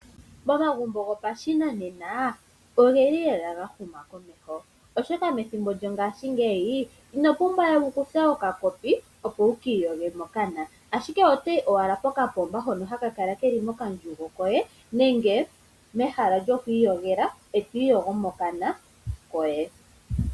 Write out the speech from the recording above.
Momagumbo gopashinanena ogeli gahuma komeho, oshoka methimbo lyongashingeyi ino pumbwawe wukuthe okakopi opo wu ka ipukushe mokana, ashike otoyi owala pokapomba hono haka kala keli mokandjugo koye nenge mehala lyoku iyogela eto ipukusha mokana koye.